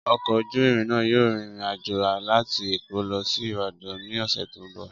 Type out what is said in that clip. Ọkọ̀ ojú irin náà yóò rin ìrìn àjò láti Èkó lọ sí Ìbàdàn ní ọ̀sẹ̀ tó ń bọ̀.